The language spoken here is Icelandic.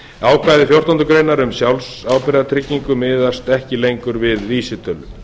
ákvæði fjórtándu greinar um sjálfsábyrgðartryggingu miðast ekki lengur við vísitölu